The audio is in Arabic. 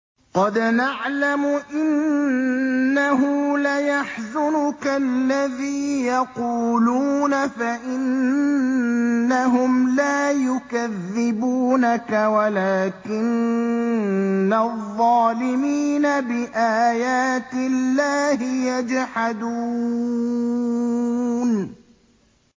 قَدْ نَعْلَمُ إِنَّهُ لَيَحْزُنُكَ الَّذِي يَقُولُونَ ۖ فَإِنَّهُمْ لَا يُكَذِّبُونَكَ وَلَٰكِنَّ الظَّالِمِينَ بِآيَاتِ اللَّهِ يَجْحَدُونَ